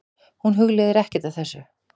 Hún hugleiðir ekkert af þessu.